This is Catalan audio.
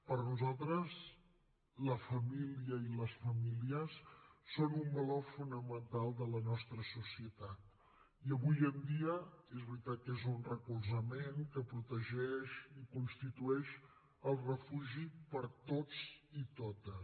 per nosaltres la família i les famílies són un valor fonamental de la nostra societat i avui en dia és veritat que és un recolzament que protegeix i constitueix el refugi per a tots i totes